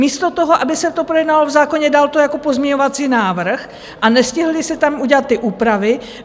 Místo toho, aby se to projednalo v zákoně, dal to jako pozměňovací návrh, a nestihly se tam udělat ty úpravy.